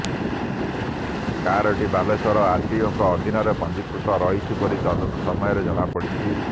କାରଟି ବାଲେଶ୍ୱର ଆରଟିଓଙ୍କ ଅଧିନରେ ପଞ୍ଜିକୃତ ରହିଛି ବୋଲି ତଦନ୍ତ ସମୟରେ ଜଣାପଡ଼ିଛି